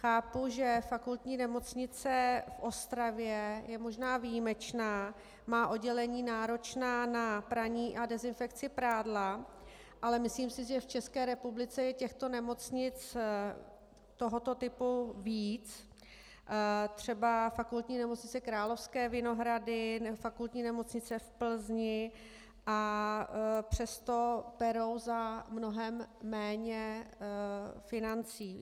Chápu, že Fakultní nemocnice v Ostravě je možná výjimečná, má oddělení náročná na praní a dezinfekci prádla, ale myslím si, že v České republice je těchto nemocnic tohoto typu víc, třeba Fakultní nemocnice Královské Vinohrady, Fakultní nemocnice v Plzni, a přesto perou za mnohem méně financí.